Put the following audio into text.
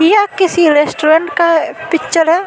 ये किसी रेस्टोरेंट का पिक्चर है।